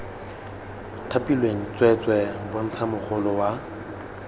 thapilweng tsweetswee bontsha mogolo wa